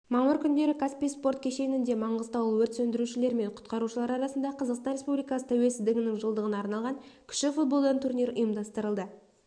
мамыр күндері каспий спорт кешенінде маңғыстаулық өрт сөндірушілер мен құтқарушылар арасында қазақстан республикасы тәуелсіздігінің жылдығына арналған кіші-футболдан турнир ұйымдастырылды